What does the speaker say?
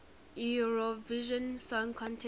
eurovision song contest